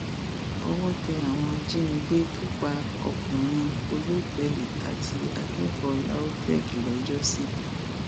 owó tẹ àwọn ajínigbé tó pa ọkùnrin olótẹẹlì àti akẹkọọ lautech lọ́jọ́ sí